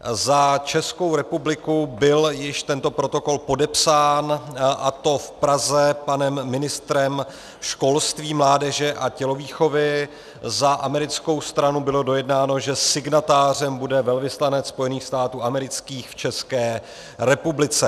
Za Českou republiku byl již tento protokol podepsán, a to v Praze panem ministrem školství, mládeže a tělovýchovy, za americkou stranu bylo dojednáno, že signatářem bude velvyslanec Spojených států amerických v České republice.